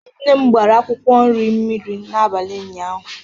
Nne m gbara akwụkwọ nri mmiri n'abalị ụnyaahụ.